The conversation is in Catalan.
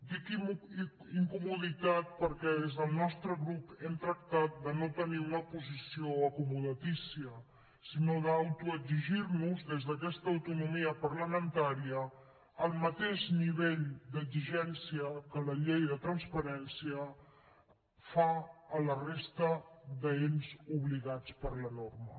dic incomoditat perquè des del nostre grup hem tractat de no tenir una posició acomodatícia sinó d’autoexigirnos des d’aquesta autonomia parlamentària el mateix nivell d’exigència que la llei de transparència fa a la resta d’ens obligats per la norma